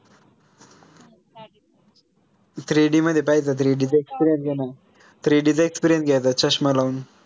three D मध्ये पाहायचं three D च experience घे ना three D चा experience घायचा चष्मा लावून